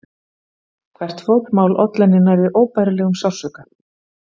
Hvert fótmál olli henni nærri óbærilegum sársauka.